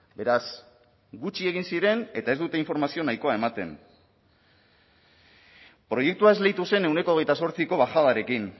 beraz gutxi egin ziren eta ez dute informazio nahikoa ematen proiektua esleitu zen ehuneko hogeita zortziko bajadarekin